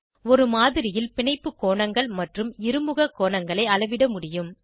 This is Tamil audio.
ஒரு மாதிரியில் பிணைப்பு கோணங்கள் மற்றும் இருமுக கோணங்களை அளவிடமுடியும்